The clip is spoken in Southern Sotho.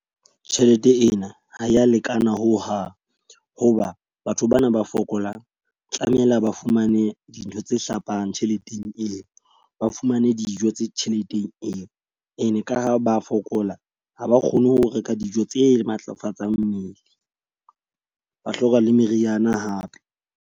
Tjhelete ena ha ya lekana ho hang. Ho ba batho bana ba fokolang tlamehile ba fumane dintho tse hlapang tjheleteng eo, ba fumane dijo tse tjheleteng eo. E ne ka ho ba fokola, ha ba kgone ho reka dijo tse matlafatsang mmele. Ba hloka le meriana hape.